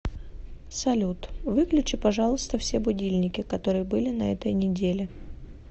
салют выключи пожалуйста все будильники которые были на этой неделе